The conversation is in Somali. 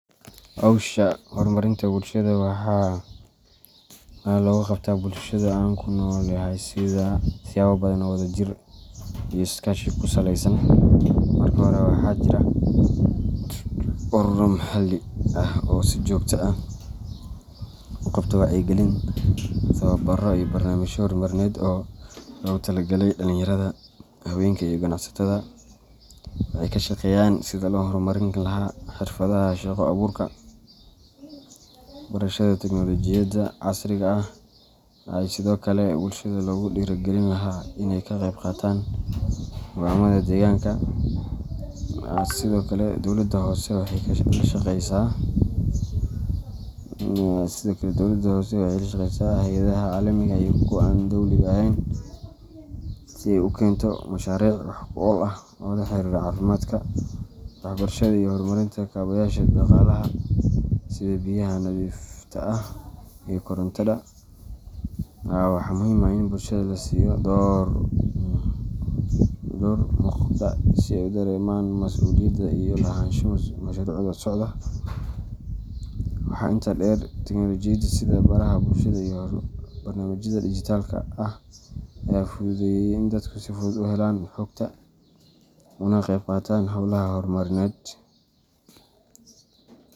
Hawsha horumarinta bulshada waxaa looga qabtaa bulshada aan ku noolahay siyaabo badan oo wadajir iyo is-kaashi ku saleysan. Marka hore, waxaa jira ururo maxalli ah oo si joogto ah u qabta wacyigelin, tababaro, iyo barnaamijyo horumarineed oo loogu talagalay dhalinyarada, haweenka, iyo ganacsatada. Waxay ka shaqeeyaan sidii loo horumarin lahaa xirfadaha shaqo abuurka, barashada tiknoolajiyadda casriga ah, iyo sidoo kale sidii bulshada loogu dhiirrigelin lahaa in ay ka qayb qaataan go’aamada deegaanka. Sidoo kale, dowladda hoose waxay la shaqeysaa hay’adaha caalamiga ah iyo kuwa aan dowliga ahayn si ay u keento mashaariic wax ku ool ah oo la xiriira caafimaadka, waxbarashada, iyo horumarinta kaabayaasha dhaqaalaha sida biyaha nadiifta ah iyo korontada. Waxaa muhiim ah in bulshada la siiyo door muuqda si ay u dareemaan mas’uuliyad iyo lahaansho mashruucyada socda. Waxaa intaa dheer, tiknoolajiyada sida baraha bulshada iyo barnaamijyada digital-ka ah ayaa fududeeyay in dadku si fudud u helaan xogta, ugana qeyb qaataan hawlaha horumarineed.